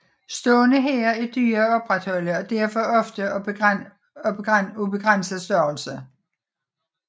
Stående hære er dyre at opretholde og derfor ofte af begrænset størrelse